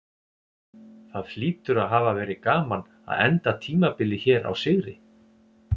Það hlýtur að hafa verið gaman að enda tímabilið hér á sigri?